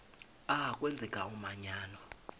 a kwenzeka umanyano